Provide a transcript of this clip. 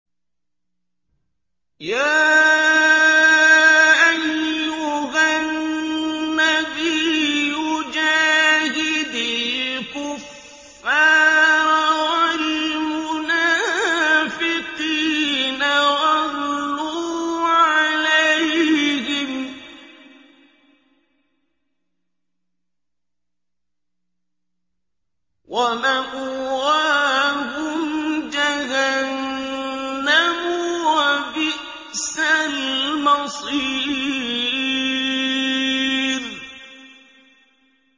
يَا أَيُّهَا النَّبِيُّ جَاهِدِ الْكُفَّارَ وَالْمُنَافِقِينَ وَاغْلُظْ عَلَيْهِمْ ۚ وَمَأْوَاهُمْ جَهَنَّمُ ۖ وَبِئْسَ الْمَصِيرُ